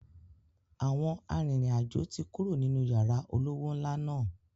Àwọn arìnrìn-àjò tí kúrò nínú yàrá olówó ńlá náà.